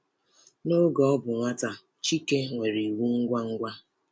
N’oge ọ bụ nwata, Chike nwere iwe ngwa ngwa.